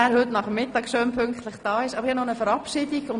Ich habe noch eine Verabschiedung vorzunehmen.